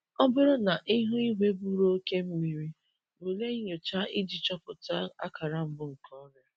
Ọ bụrụ na ihu igwe buru oke mmiri, bulie nyocha iji chọpụta akara mbụ nke ọrịa.